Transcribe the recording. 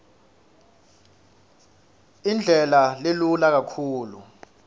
indlela lelula kakhulu